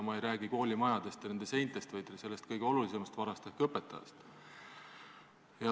Ma ei räägi koolimajadest ja nende seintest, vaid sellest kõige olulisemast varast ehk õpetajast.